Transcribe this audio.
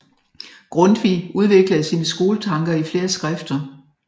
Grundtvig udviklede sine skoletanker i flere skrifter